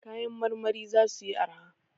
Kayan marmari za suyi arha.